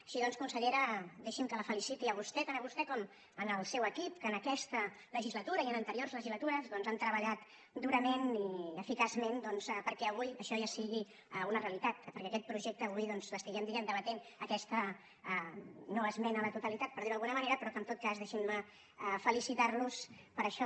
així doncs consellera deixi’m que la feliciti a vostè tant a vostè com al seu equip que en aquesta legislatura i en anteriors legislatures han treballat durament i eficaçment perquè avui això ja sigui una realitat perquè aquest projecte avui l’estiguem debatent aquesta noesmena a la totalitat per dir ho d’alguna manera però que en tot cas deixin me felicitar los per això